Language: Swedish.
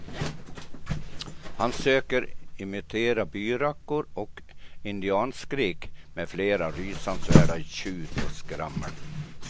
Han söker imitera byrackor och indianskrik med flera rysansvärda tjut och skrammel.